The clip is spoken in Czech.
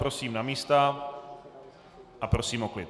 Prosím na místa a prosím o klid.